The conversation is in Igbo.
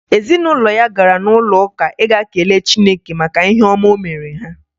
Ezinụlọ ya gara n'ụlọụka ịga kelee chineke maka ihe ọma o mere ha